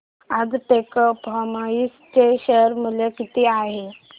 आज टेक्स्मोपाइप्स चे शेअर मूल्य किती आहे